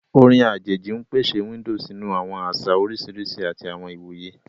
Orin ajeji n pese window sinu awọn aṣa oriṣiriṣi ati awọn iwoye.